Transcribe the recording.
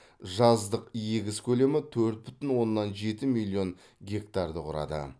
жаздық егіс көлемі төрт бүтін оннан жеті миллион гектарды құрады